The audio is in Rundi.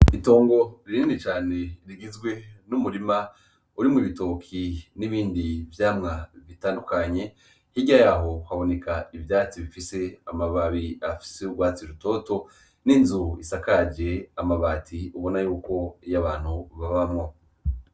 Itongo rinini cane rigizwe n'umurima urimwo ibitoki n'ibindi vyamwa bitandukanye. Hirya yaho haboneka ivyatsi bifise amababi afise urwatsi rutoto, n'inzu isakaje amabati ubona yuko abantu babamwo.